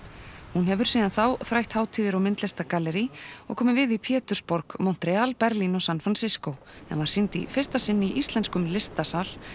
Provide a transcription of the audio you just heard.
hún hefur síðan þrætt hátíðir og og komið við í Pétursborg Montreal Berlín og San Fransisco en var sýnd í fyrsta sinn í íslenskum listasal